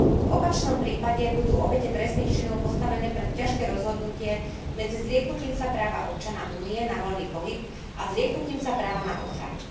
V opačnom prípade budú obete trestných činov postavené pred ťažké rozhodnutie medzi zrieknutím sa práva občana Únie na voľný pohyb a zrieknutím sa práva na ochranu.